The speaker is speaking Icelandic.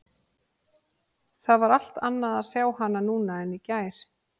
Það var allt annað að sjá hana núna en í gær.